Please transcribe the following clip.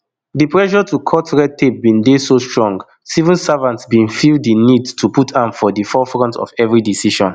di pressure to cut red tape bin dey so strong civil servants bin feel di need to put am for di forefront of every decision